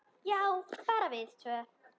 Já, bara við tvö.